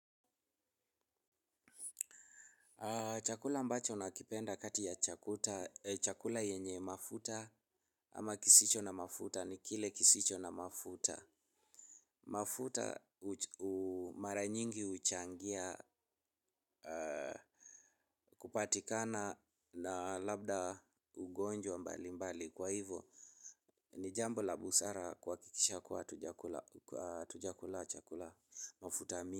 Chakula ambacho na kipenda kati ya chakuta. Chakula yenye mafuta ama kisicho na mafuta ni kile kisicho na mafuta. Mafuta mara nyingi huchangia kupatikana na labda ugonjwa mbali mbali. Kwa hivyo ni jambo la busara kuakikisha kuwa hatujakula chakula mafuta.